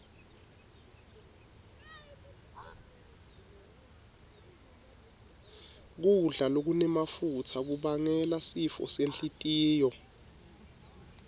kudla lokunemafutsa kubangela sifo senhlitiyo